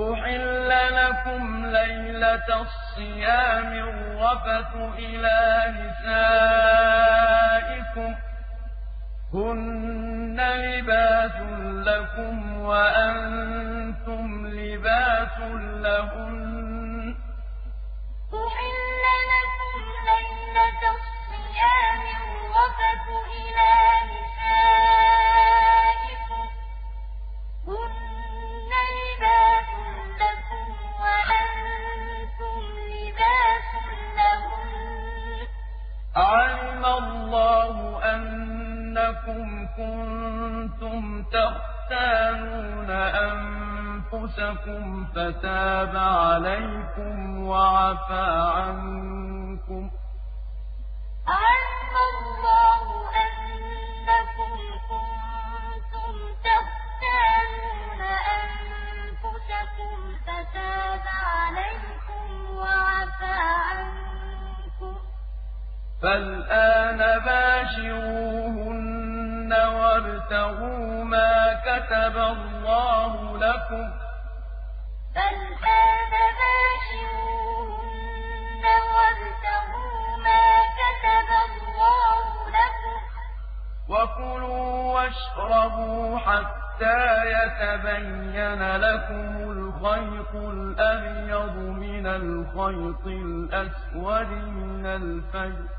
أُحِلَّ لَكُمْ لَيْلَةَ الصِّيَامِ الرَّفَثُ إِلَىٰ نِسَائِكُمْ ۚ هُنَّ لِبَاسٌ لَّكُمْ وَأَنتُمْ لِبَاسٌ لَّهُنَّ ۗ عَلِمَ اللَّهُ أَنَّكُمْ كُنتُمْ تَخْتَانُونَ أَنفُسَكُمْ فَتَابَ عَلَيْكُمْ وَعَفَا عَنكُمْ ۖ فَالْآنَ بَاشِرُوهُنَّ وَابْتَغُوا مَا كَتَبَ اللَّهُ لَكُمْ ۚ وَكُلُوا وَاشْرَبُوا حَتَّىٰ يَتَبَيَّنَ لَكُمُ الْخَيْطُ الْأَبْيَضُ مِنَ الْخَيْطِ الْأَسْوَدِ مِنَ الْفَجْرِ ۖ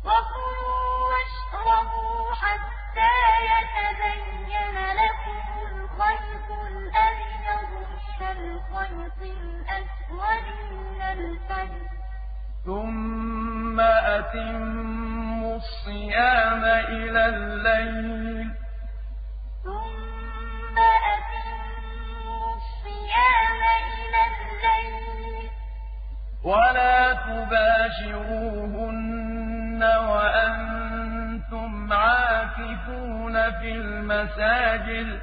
ثُمَّ أَتِمُّوا الصِّيَامَ إِلَى اللَّيْلِ ۚ وَلَا تُبَاشِرُوهُنَّ وَأَنتُمْ عَاكِفُونَ فِي الْمَسَاجِدِ ۗ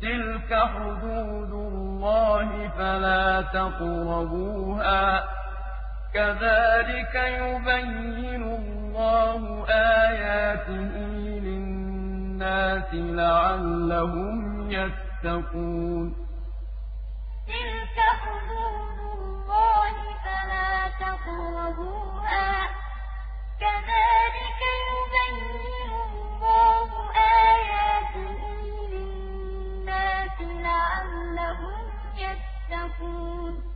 تِلْكَ حُدُودُ اللَّهِ فَلَا تَقْرَبُوهَا ۗ كَذَٰلِكَ يُبَيِّنُ اللَّهُ آيَاتِهِ لِلنَّاسِ لَعَلَّهُمْ يَتَّقُونَ أُحِلَّ لَكُمْ لَيْلَةَ الصِّيَامِ الرَّفَثُ إِلَىٰ نِسَائِكُمْ ۚ هُنَّ لِبَاسٌ لَّكُمْ وَأَنتُمْ لِبَاسٌ لَّهُنَّ ۗ عَلِمَ اللَّهُ أَنَّكُمْ كُنتُمْ تَخْتَانُونَ أَنفُسَكُمْ فَتَابَ عَلَيْكُمْ وَعَفَا عَنكُمْ ۖ فَالْآنَ بَاشِرُوهُنَّ وَابْتَغُوا مَا كَتَبَ اللَّهُ لَكُمْ ۚ وَكُلُوا وَاشْرَبُوا حَتَّىٰ يَتَبَيَّنَ لَكُمُ الْخَيْطُ الْأَبْيَضُ مِنَ الْخَيْطِ الْأَسْوَدِ مِنَ الْفَجْرِ ۖ ثُمَّ أَتِمُّوا الصِّيَامَ إِلَى اللَّيْلِ ۚ وَلَا تُبَاشِرُوهُنَّ وَأَنتُمْ عَاكِفُونَ فِي الْمَسَاجِدِ ۗ تِلْكَ حُدُودُ اللَّهِ فَلَا تَقْرَبُوهَا ۗ كَذَٰلِكَ يُبَيِّنُ اللَّهُ آيَاتِهِ لِلنَّاسِ لَعَلَّهُمْ يَتَّقُونَ